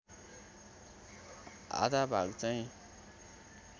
आधा भाग चाहिँ